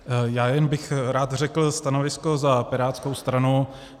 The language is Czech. Já jen bych rád řekl stanovisko za pirátskou stranu.